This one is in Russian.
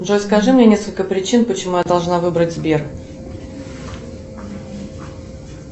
джой скажи мне несколько причин почему я должна выбрать сбер